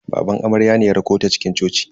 Baban amaryar ne ya rakota cikin coci.